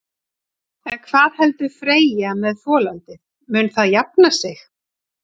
En hvað heldur Freyja með folaldið, mun það jafna sig?